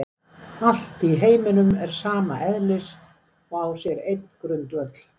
Allt í heiminum er sama eðlis og á sér einn grundvöll.